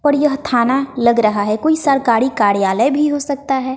और यह थाना लग रहा है कोई सरकारी कार्यालय भी हो सकता है।